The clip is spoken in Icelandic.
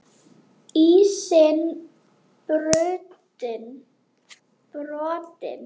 Ísinn brotinn